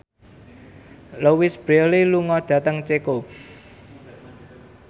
Louise Brealey lunga dhateng Ceko